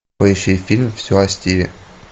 поищи фильм все о стиве